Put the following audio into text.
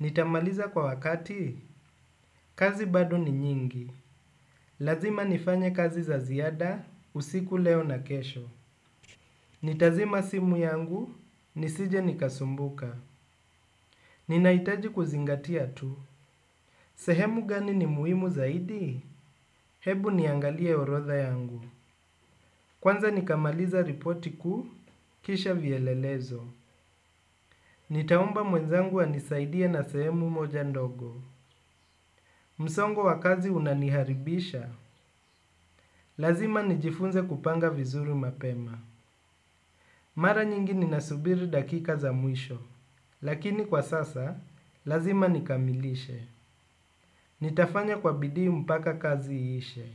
nitamaliza kwa wakati? Kazi bado ni nyingi. Lazima nifanye kazi za ziada, usiku leo na kesho. Nitazima simu yangu, nisije nikasumbuka. Ninahitaji kuzingatia tu. Sehemu gani ni muhimu zaidi? Hebu niangalie rodha yangu. Kwanza nikamaliza ripoti kuu, kisha vielelezo. Nitaomba mwenzangu anisaidie na sehemu moja ndogo. Msongo wa kazi unaniharibisha. Lazima nijifunze kupanga vizuri mapema. Mara nyingi ninasubiri dakika za mwisho lakini kwa sasa, lazima nikamilishe. Nitafanya kwa bidii mpaka kazi iishe.